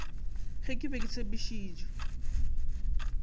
ge ke be ke tshepišitše